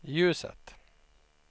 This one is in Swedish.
ljuset